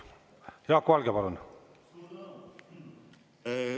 Jaak Valge, palun!